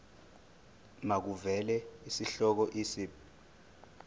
makuvele isihloko isib